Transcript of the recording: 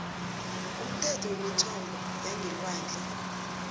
umthetho wemithombo yangelwandle